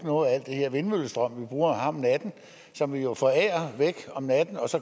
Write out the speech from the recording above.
noget af al den her vindmøllestrøm som vi jo forærer væk om natten og